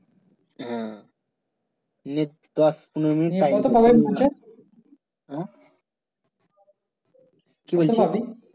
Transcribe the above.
হ্যাঁ নে দশ পনেরো মিনিট হ্যাঁ কি বলচ্ছিস